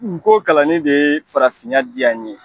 U ko kalanni de ye farafinya diya n ye.